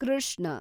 Krishna